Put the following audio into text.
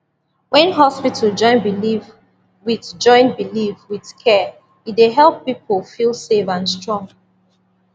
when hospital join belief with join belief with care e dey help people feel safe and strong